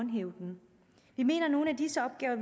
dem vi mener at nogle af disse opgaver